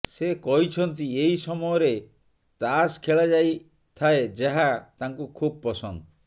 ସେ କହିଛନ୍ତି ଏହି ସମୟରେ ତାସ ଖେଳାଯାଇଥାଏ ଯାହା ତାଙ୍କୁ ଖବ୍ ପସନ୍ଦ